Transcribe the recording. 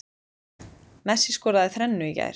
Messi skoraði þrennu í gær